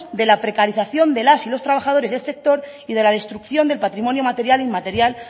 de la precarización de las y los trabajadores del sector y de la destrucción del patrimonio material e inmaterial